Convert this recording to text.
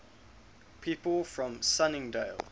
people from sunningdale